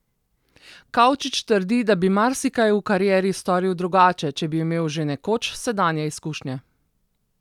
Kavčič trdi, da bi marsikaj v karieri storil drugače, če bi imel že nekoč sedanje izkušnje.